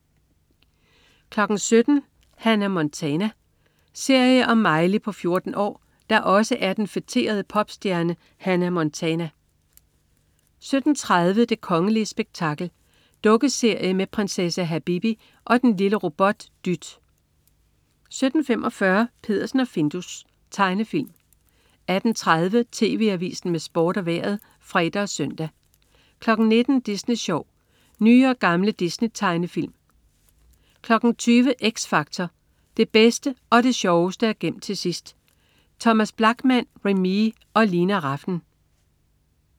17.00 Hannah Montana. Serie om Miley på 14 år, der også er den feterede popstjerne Hannah Montana 17.30 Det kongelige spektakel. Dukkeserie med prinsesse Habibi og og den lille robot Dyt 17.45 Peddersen og Findus. Tegnefilm 18.30 TV Avisen med Sport og Vejret (fre og søn) 19.00 Disney Sjov. Nye og gamle Disney-tegnefilm 20.00 X Factor. Det bedste og det sjoveste er gemt til sidst. ThomasBlachman, Remee og Lina Rafn